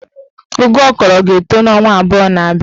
Ụgụ ọ kọrọ ga-etọ n'ọnwa abụọ na-abịa